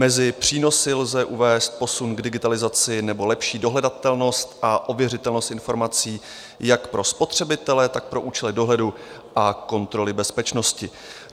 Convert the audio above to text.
Mezi přínosy lze uvést posun k digitalizaci nebo lepší dohledatelnost a ověřitelnost informací jak pro spotřebitele, tak pro účely dohledu a kontroly bezpečnosti.